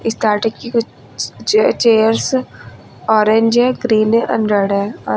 starting कि कुछ चे चेयर चेयर्स ऑरेंज है ग्रीन है एंड रेड है और--